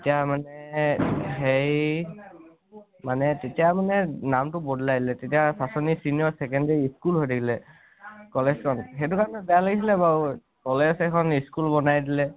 তেতিয়া মানে এ হেৰি মানে তেতিয়া মানে নামতো বদ্লাই দিলে । তেতিয়া পাছনি senior secondary school হৈ থাকিলে college নহয়, সেইতো কাৰণে বেয়া লাগিছিলে । college এখন school বনাই দিলে